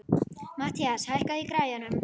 Mathías, hækkaðu í græjunum.